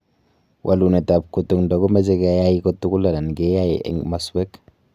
Walunet ab kutukndo �komach keai kotugul anan keai eng masweek.